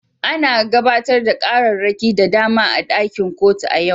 An gabatar da ƙararraki da dama a ɗakin kotun a yau.